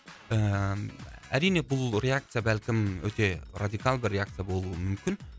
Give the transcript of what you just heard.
ііі әрине бұл реакция бәлкім өте радикалды реакция болуы мүмкін